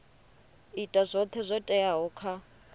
ita zwoṱhe zwo teaho kha